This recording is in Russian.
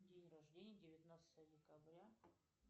день рождения девятнадцатое декабря